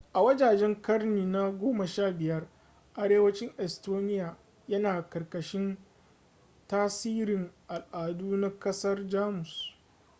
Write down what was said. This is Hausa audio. a wajejen ƙarni na 15 arewacin estonia yana ƙarƙashin tasirin al'adu na ƙasar jamus